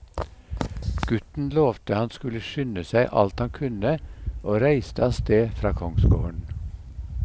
Gutten lovte han skulle skynde seg alt han kunne, og reiste av sted fra kongsgården.